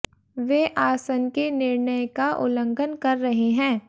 वे आसन के निर्णय का उल्लंघन कर रहे हैं